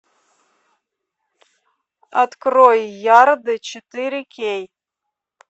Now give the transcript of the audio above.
открой ярды четыре кей